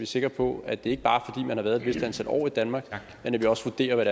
sikre på at det ikke bare er fordi man har været et vist antal år i danmark men at vi også vurderer hvad